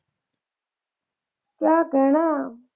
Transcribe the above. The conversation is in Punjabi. ਕਿਆ ਕਹਿਣਾ।